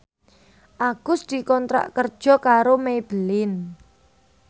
Agus dikontrak kerja karo Maybelline